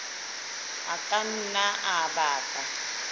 a ka nna a baka